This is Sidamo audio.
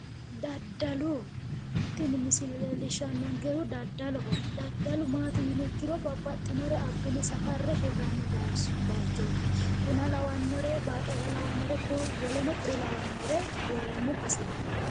Daddallu tinni misille leelishanonkehu daddalloho daddallu maati yinniha ikkiro babbaxinore abine safare hiranni bayichoti bunna lawanore, baaqeella lawanorenna woleno kuri lawanore woranni baseeti.